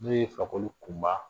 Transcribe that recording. N'o ye fakoli kunba